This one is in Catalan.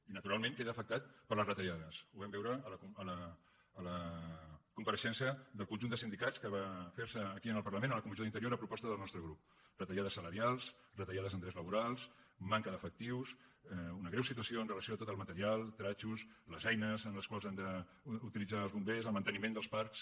i naturalment queda afectat per les retallades ho vam veure a la compareixença del conjunt de sindicats que va fer se aquí al parlament a la comissió d’interior a proposta del nostre grup retallades salarials retallades en drets laborals manca d’efectius una greu situació amb relació a tot el material vestits les eines que han d’utilitzar els bombers el manteniment dels parcs